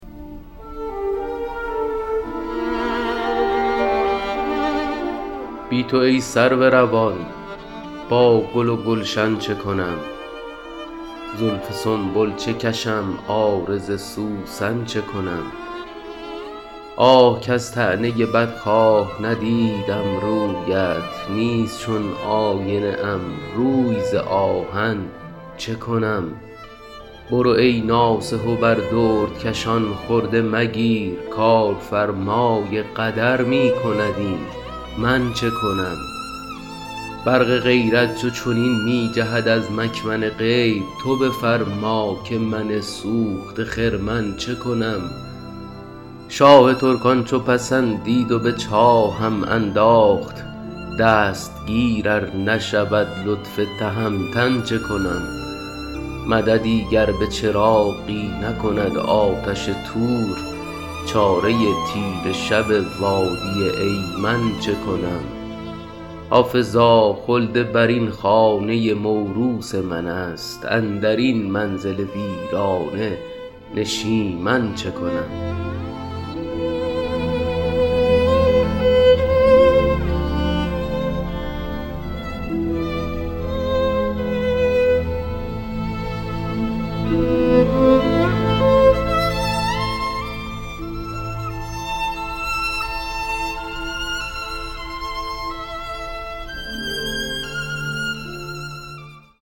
بی تو ای سرو روان با گل و گلشن چه کنم زلف سنبل چه کشم عارض سوسن چه کنم آه کز طعنه بدخواه ندیدم رویت نیست چون آینه ام روی ز آهن چه کنم برو ای ناصح و بر دردکشان خرده مگیر کارفرمای قدر می کند این من چه کنم برق غیرت چو چنین می جهد از مکمن غیب تو بفرما که من سوخته خرمن چه کنم شاه ترکان چو پسندید و به چاهم انداخت دستگیر ار نشود لطف تهمتن چه کنم مددی گر به چراغی نکند آتش طور چاره تیره شب وادی ایمن چه کنم حافظا خلدبرین خانه موروث من است اندر این منزل ویرانه نشیمن چه کنم